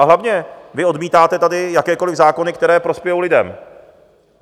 A hlavně, vy odmítáte tady jakékoliv zákony, které prospějou lidem.